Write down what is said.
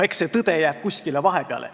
Eks see tõde jää kuskile vahepeale.